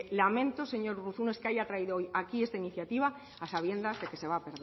lamento señor urruzuno es que haya traído hoy aquí esta iniciativa a sabiendas de que se va a